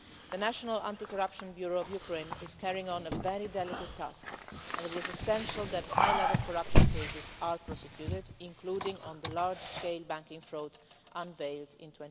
The National Anti Corruption Bureau of Ukraine is carrying on a very delicate task and it is essential that high level corruption cases are prosecuted, including those relating to the large scale banking fraud unveiled in